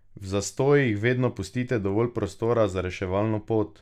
V zastojih vedno pustite dovolj prostora za reševalno pot!